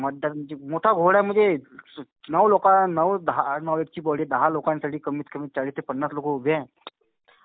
मतदारांची. मोठा घोळ आहे म्हणजे नऊ लोका नऊ दहा. दहा लोकांसाठी कमीतकमी चाळीस ते पन्नास लोकं उभे आहे.